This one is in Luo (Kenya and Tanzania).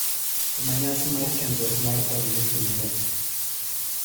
Kuma nyasi mar kendruok mar Tom dhi timore.